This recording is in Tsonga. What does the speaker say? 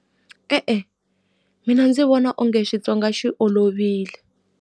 E-e, mina ndzi vona onge Xitsonga xi olovile.